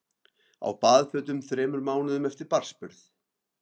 Á baðfötum þremur mánuðum eftir barnsburð